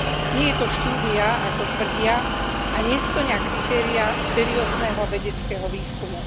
Nie je to štúdia, ako tvrdia, a nespĺňa kritériá seriózneho vedeckého výskumu.